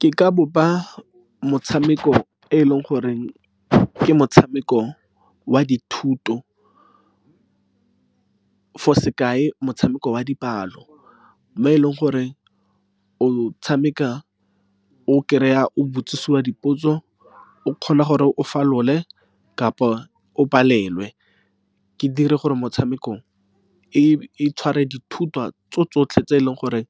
Ke ka bopa motshameko e e leng gore ke motshameko wa dithuto, for sekai, motshameko wa dipalo. Mo e leng gore o tshameka o kry-a, o botsiswa dipotso. O kgona gore o falole kapa o palelwe. Ke dire gore motshamekong e tshware dithutwa tso tsotlhe tse e leng gore